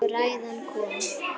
Og ræðan kom.